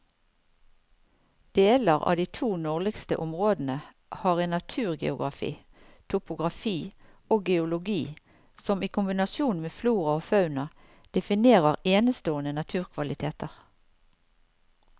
Deler av de to nordligste områdene har en naturgeografi, topografi og geologi som i kombinasjon med flora og fauna definerer enestående naturkvaliteter.